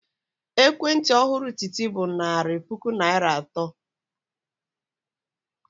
Ekwentị ọhụrụ Titi bụ narị puku naira atọ.